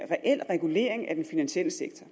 reel regulering af den finansielle sektor